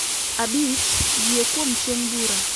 Abich, Yie Kuom Chieng' Bura.